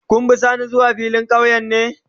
Ka be sani zuwa filin kauye ne?